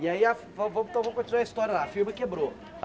E aí a, vamos vamos continuar a história lá, a firma quebrou.